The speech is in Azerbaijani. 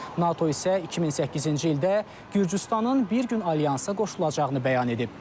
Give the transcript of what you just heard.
NATO isə 2008-ci ildə Gürcüstanın bir gün alyansa qoşulacağını bəyan edib.